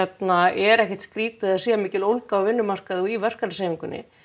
er ekkert skrítið að það sé mikil ólga á vinnumarkaði og í verkalýðshreyfingunni